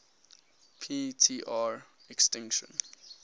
p tr extinction